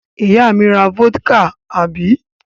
Ìyá mi ra vódíkà, àbí?